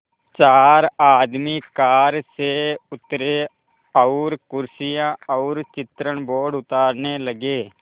चार आदमी कार से उतरे और कुर्सियाँ और चित्रण बोर्ड उतारने लगे